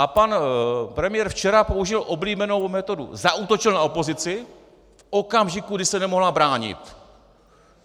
A pan premiér včera použil oblíbenou metodu - zaútočil na opozici v okamžiku, kdy se nemohla bránit.